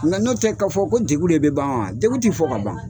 Nka n'o tɛ k'a fɔ ko degun de bɛ ban wa, degun tɛ fɔ ka ban.